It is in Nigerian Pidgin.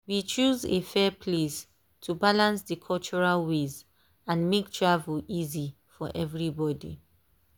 we choose a fair place to balance the cultural ways and make travel easy for everybody.